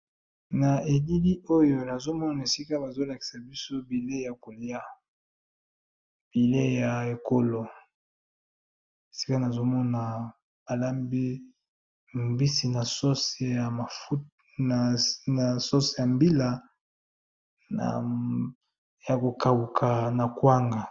Na elili Oyo Nazo mona bazolakisa viso bileyi yakolia bileyi ya ekolo Esika balambi